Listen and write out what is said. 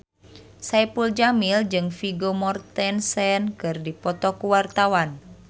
Saipul Jamil jeung Vigo Mortensen keur dipoto ku wartawan